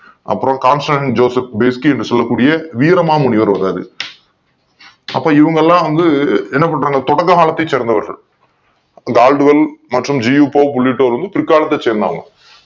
அப்புறம் Constantino Giuseppe Beschi என்று சொல்லக்கூடிய வீரமாமுனிவர் வாராரு அப்ப இவங்கெல்லாம் வந்து என்ன பண்றாங்க தொடக்க காலத்தை சேர்ந்தவர்கள Caldwell G. U. Pope உள்ளிட்டோர் வந்து பிற்காலத்தை சார்ந்தவர்கள்